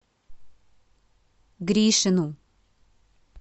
гришину